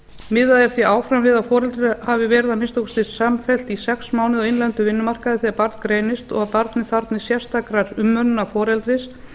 miðað er því áfram við að foreldrar hafi verið að minnsta kosti samfellt í sex mánuði á innlendum vinnumarkaði þegar barn greinist og barnið þarfnist sérstakrar umönnunar foreldris